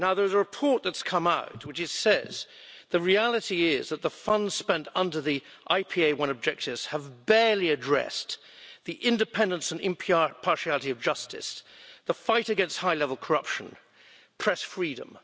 A report has come out which says that the reality is that the funds spent under the IPA I objectives have barely addressed the independence and impartiality of justice, the fight against high level corruption, and press freedom.